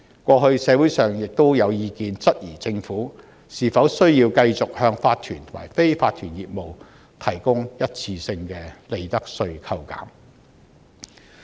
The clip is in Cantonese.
過去，社會上亦有意見質疑政府是否需要繼續向法團和非法團業務提供一次性的利得稅扣減。